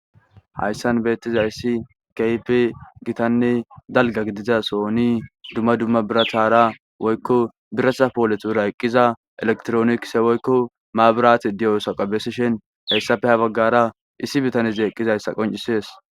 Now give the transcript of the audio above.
hayssan beettiza issi kyp gitanne dalga gidiza sooni dumma dumma birathara woykko biratha pooletura eqqiza elektroonikse woykko maburati diyosaqabesishen hayssafe ha baggara issi bitaneze eqqizayssa qoncisees